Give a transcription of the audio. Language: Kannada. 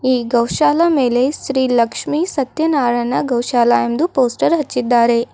ಈ ಗೋಶಲ ಮೇಲೆ ಶ್ರೀ ಲಕ್ಷ್ಮಿ ಸತ್ಯನಾರಾಯಣ ಗೋಶಾಲ ಎಂದು ಪೋಸ್ಟರ್ ಹಚ್ಚಿದ್ದಾರೆ.